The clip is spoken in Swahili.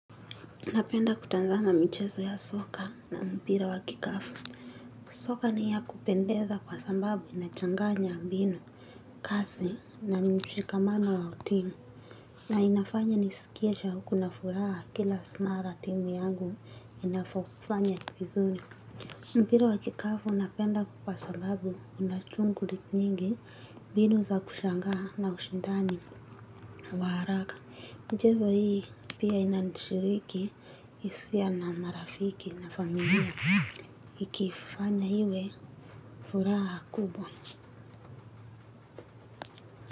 Napenda kutazama michezo ya soka na mpira wa kikapu. Soka ni ya kupendeza kwa sababu inachanganya mbinu. Kasi na mshikamano wa timu. Na inafanya nisikiesha kuna furaha kila mara timu yangu inapo kufanya vizuri. Mpira wa kikapu napenda kwa sababu unashuguli nyingi mbinu za kushangaa na ushindani wa haraka. Michezo hii pia inashiriki hisia na marafiki na familia. Ikifanya hiiwe furaha kubwa.